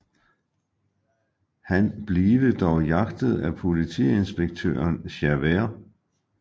Han blive dog jagtet af politiinspektøren Javert